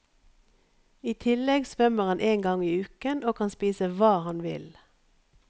I tillegg svømmer han en gang i uken og kan spise hva han vil.